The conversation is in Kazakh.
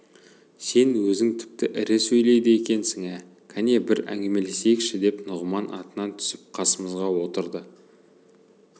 сен өзің тіпті ірі сөйлейді екенсің ә кәне бір әңгімелесейікші деп нұғыман атынан түсіп қасымызға отырды